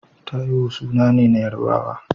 Taiwo suna ne na Yarabawa.